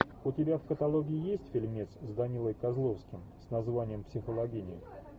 у тебя в каталоге есть фильмец с данилой козловским с названием психологини